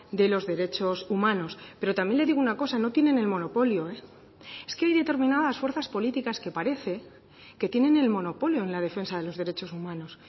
de los derechos humanos pero también le digo una cosa no tienen el monopolio es que hay determinadas fuerzas políticas que parece que tienen el monopolio en la defensa de los derechos humanos